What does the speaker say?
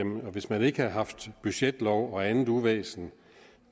hvis man ikke havde haft budgetlov og andet uvæsen